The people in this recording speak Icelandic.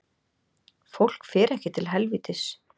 Fólk fer ekki til helvítis